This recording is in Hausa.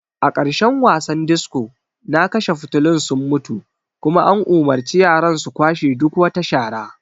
A ƙarshen wasan disco na kashe fitulun sun mutu kuma an umurci yaran su kwashe duk wata shara.